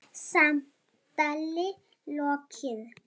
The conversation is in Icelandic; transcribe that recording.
Samtali lokið.